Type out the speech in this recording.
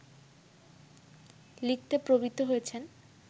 লিখতে প্রবৃত্ত হয়েছেন